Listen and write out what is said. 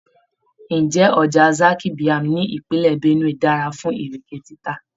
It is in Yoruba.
Ǹjẹ́ ọjà Zaki Biam ní ìpínlẹ̀ Benue dára fún Ìrèké títà?